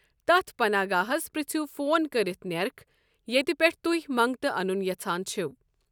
تتھ پناہگاہس پرٛژھِو فون كرِتھ نیرخ ییتہِ پٮ۪ٹھٕ تُہۍ منگتہٕ انن یژھان چھِوٕ۔